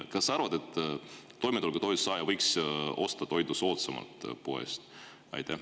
Kas sa arvad, et toimetulekutoetuse saaja võiks toitu poest soodsamalt osta?